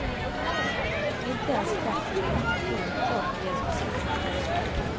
Inte ens kraftig konjunkturuppgång ger speciellt stort utslag.